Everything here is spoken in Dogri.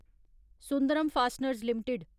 Sundaram fasteners limited